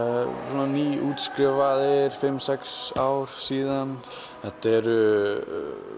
svona nýútskrifaðir fimm sex ár síðan þetta eru